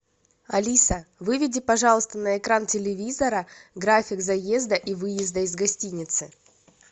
алиса выведи пожалуйста на экран телевизора график заезда и выезда из гостиницы